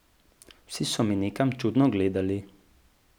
Vsi so me nekam čudno gledali.